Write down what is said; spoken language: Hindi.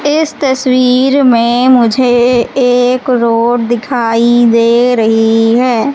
इस तस्वीर में मुझे एक रोड दिखाई दे रही है।